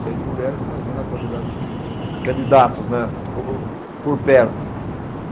Seis mulheres, imagina a quantidade de candidatos, né, ho, por perto.